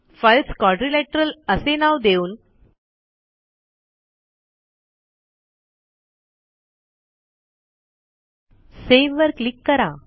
files quadrilateral असे नाव देऊन सेव्ह वर क्लिक करा